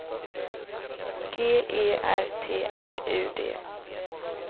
G E R T R U D